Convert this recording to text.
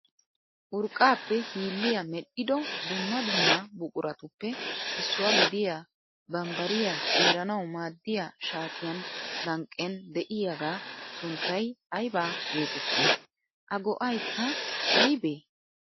Urqqaappe hilliya mel'ido dumma dumma buquratuppe issuwa gidiya bambbariy xiiranawu maaddiya shaatiyan lanqqen dei'yagaa sunttay ayiba geetettii? A go'ayikka ayibee?